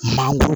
Mangoro